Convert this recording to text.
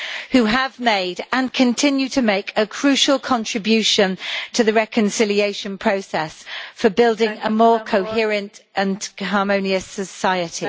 who have made and continue to make a crucial contribution to the reconciliation process for building a more coherent and harmonious society.